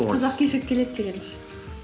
кешігіп келеді деген ше